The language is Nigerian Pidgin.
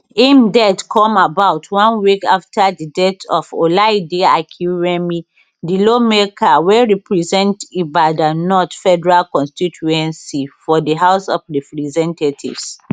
im death come about one week afta di death of olaide akinremi di lawmaker wey represent ibadan north federal constituency for di house of representatives